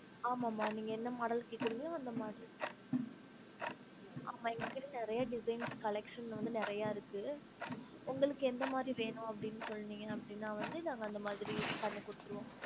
ஆமாம்மா நீங்க என்ன model ல கேக்குறீங்களோ அந்த model ஆமா எங்ககிட்ட நெறைய design collections வந்து நிறைய இருக்கு உங்களுக்கு எந்த மாரி வேணும் அப்டின்னு சொன்னிங்க அப்டினா வந்து நாங்க அந்த மாதிரி பண்ணி குடுத்துருவோம்